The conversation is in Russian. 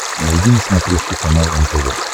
найди на смотрешке канал нтв